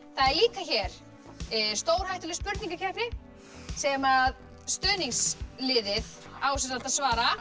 það er líka hér stórhættuleg spurningakeppni sem stuðningsliðið á að svara